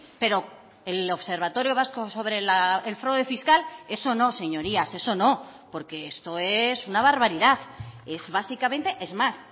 pero el observatorio vasco sobre el fraude fiscal eso no señorías eso no porque esto es una barbaridad es básicamente es más